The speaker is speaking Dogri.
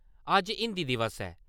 अज्ज हिन्दी दिवस ऐ।